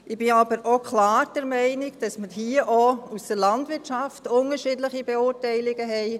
Ich bin aber auch klar der Meinung, dass wir hier auch aus der Landwirtschaft unterschiedliche Beurteilungen haben.